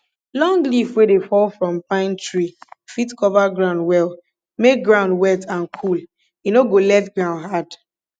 long leaf wey dey fall from pine tree fit cover ground well make ground wet and cool e no go let ground hard